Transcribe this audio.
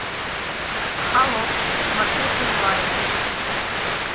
холоп смотреть онлайн